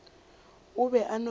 o be a no fela